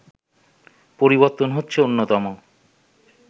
পরিবর্তন হচ্ছে অন্যতম